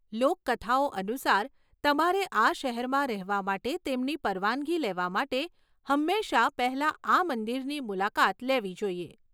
લોકકથાઓ અનુસાર, તમારે આ શહેરમાં રહેવા માટે તેમની પરવાનગી લેવા માટે હંમેશા પહેલા આ મંદિરની મુલાકાત લેવી જોઈએ.